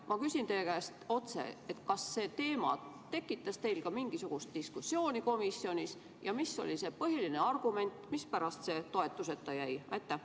Ma küsin teie käest otse: kas see teema tekitas teil ka mingisugust diskussiooni komisjonis ja mis oli põhiline argument, mispärast see toetuseta jäi?